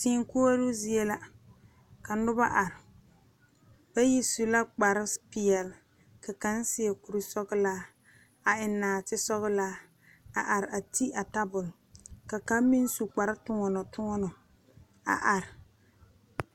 Teeŋ koɔro zie la ka noba are, bayi su la kpare pɛɛle ka kaŋa seɛ kuri sɔglaa. a eŋe nɔɔte sɔglɔ a are a ti a tabol ka kaŋ meŋ su kparre tɔno tɔno a are.